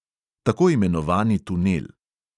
Tako imenovani tunel.